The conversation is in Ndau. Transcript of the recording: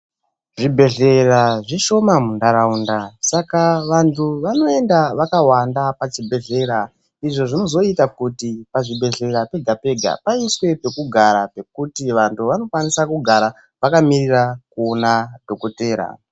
Zvibhedhlera zvishoma muntharaunda saka vanthu vanoenda vakawanda pachibhedhlera. Izvo zvinozoita kuti pachibhedhlera pega-pega paiswe pekugara pekuti vanthu vanokwanisa kugara vakamirira kuona dhokodhera.